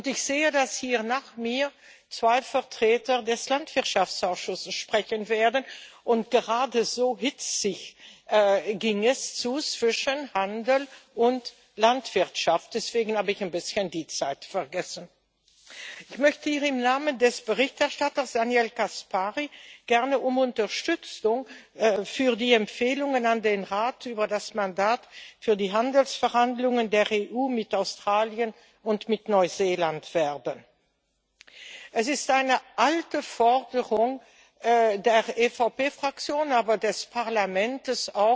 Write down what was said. Ich sehe, dass hier nach mir zwei Vertreter des Landwirtschaftsausschusses sprechen werden, und gerade ging es zwischen Handel und Landwirtschaft hitzig zu. Deswegen habe ich ein bisschen die Zeit vergessen. Ich möchte hier im Namen des Berichterstatters Daniel Caspary gern um Unterstützung für die Empfehlungen an den Rat über das Mandat für die Handelsverhandlungen der EU mit Australien und mit Neuseeland werben. Es ist eine alte Forderung der EVP Fraktion, aber auch des Parlaments,